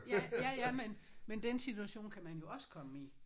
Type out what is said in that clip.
Ja. Ja ja men men den situation kan man jo også komme i